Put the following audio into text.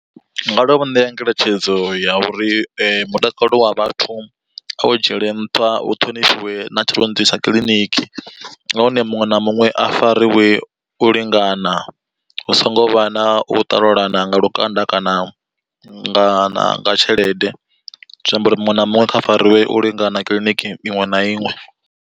Ndi nga tovha ṋea ngeletshedzo ya uri mutakalo wa vhathu a wu dzhiele nṱha hu ṱhonifhiwe na tshirunzi tsha kiḽiniki. Nahone muṅwe na muṅwe a fariwe u lingana hu songo vha na u ṱalulana nga lukanda kana nga na tshelede, zwi amba uri muṅwe na muṅwe kha fariwe u lingana kiḽiniki iṅwe na iṅwe.